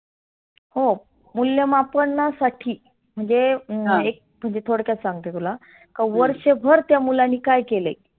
हो मुल्यमापनासाठी म्हणजे एक तुझी थोडक्यात सांगते तुला. की वर्षभर त्या मुलानी काय केलय.